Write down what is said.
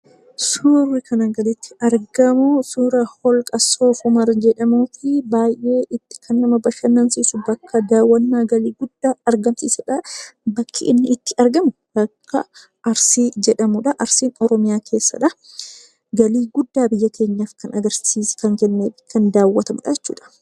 Suurri asii gaditti argamu suura holqa soof-umar jedhamuu fi baay'ee kan nama bashannansiisu bakka daawwannaa galii guddaa argamsiisuudha. Bakki inni itti argamu bakka Arsii jedhamuudha. Arsiin Oromiyaa keessadha. Galii guddaa biyya keenyaaf kan kennuu fi kan daawwatamuudha jechuudha.